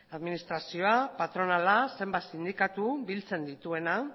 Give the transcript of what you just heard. administrazioa patronala zenbait sindikatu biltzen dituena